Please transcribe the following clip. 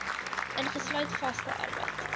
ingesluit vaste arbeid